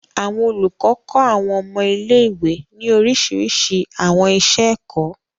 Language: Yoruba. Àwọn olúkọ kọ àwọn ọmọ ilé-ìwe ní orísirísi àwọn iṣẹ-ẹkọ.